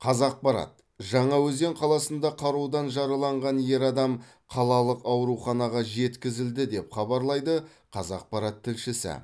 қазақпарат жаңаөзен қаласында қарудан жараланған ер адам қалалық ауруханаға жеткізілді деп хабарлайды қазақпарат тілшісі